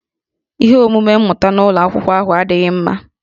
Ihe omume mmụta n'ụlọ akwụkwọ ahụ adịghị mma